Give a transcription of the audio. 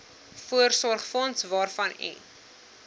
voorsorgsfonds waarvan u